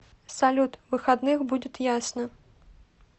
салют выходных будет ясно